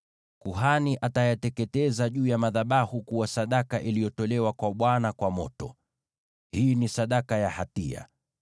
Kuhani atayateketeza juu ya madhabahu kuwa sadaka iliyotolewa kwa Bwana kwa moto. Hii ni sadaka ya hatia.